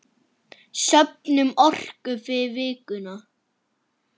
Söfnum orku fyrir vikuna.